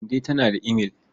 Kande tana da imail.